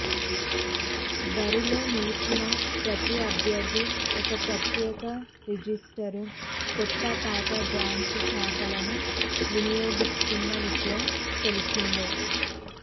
బరిలో నిలిచిన ప్రతి అభ్యర్థి ఒక ప్రత్యేక రిజిస్టరు కొత్త పాత బ్యాంకు ఖాతాలను వినియోగిస్తున్న విషయం తెలిసిందే